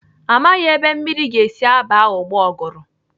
Amaghị ebe mmiri ga-esi aba ooo ụgbọgụrụ.